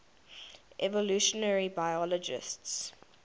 evolutionary biologists